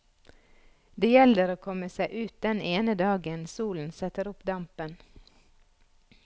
Det gjelder å komme seg ut den ene dagen solen setter opp dampen.